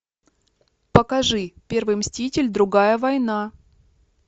покажи первый мститель другая война